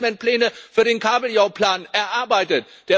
Wir haben doch Managementpläne für den Kabeljauplan erarbeitet!